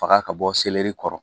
Faga ka bɔ seleri kɔrɔ